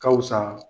Ka wusa